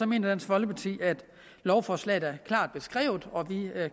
mener dansk folkeparti at lovforslaget er klart beskrevet og vi